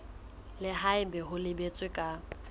le haebe ho boletswe ka